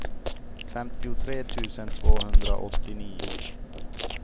femtiotre tusen tvåhundraåttionio